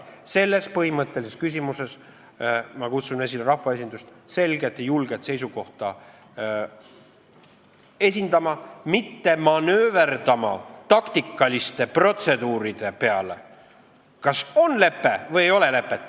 Selles põhimõttelises küsimuses ma kutsun rahvaesindust selget ja julget seisukohta esitama, mitte manööverdama taktikaliste protseduuridega.